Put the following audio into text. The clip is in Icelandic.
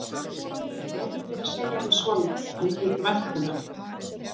Leyfðu mér að segja við son minn að mér þyki vænt um hann.